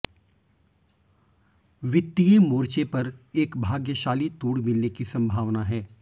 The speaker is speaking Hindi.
वित्तीय मोर्चे पर एक भाग्यशाली तोड़ मिलने की संभावना है